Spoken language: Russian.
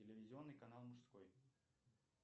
телевизионный канал мужской